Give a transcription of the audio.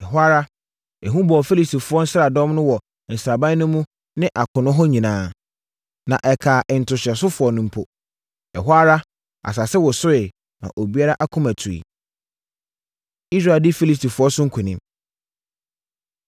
Ɛhɔ ara, ehu bɔɔ Filistifoɔ nsraadɔm no wɔ sraban no mu ne akono hɔ nyinaa, na ɛkaa ntohyɛsofoɔ no mpo. Ɛhɔ ara asase wosoeɛ, maa obiara akoma tuiɛ. Israel Di Filistifoɔ So Nkonim